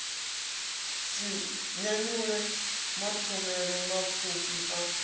si nyanyule mathomele mapfufhi a